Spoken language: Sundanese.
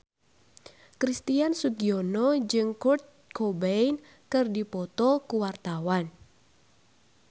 Christian Sugiono jeung Kurt Cobain keur dipoto ku wartawan